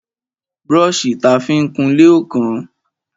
Brọ́ṣì ta fi ń kunlé ò kán o.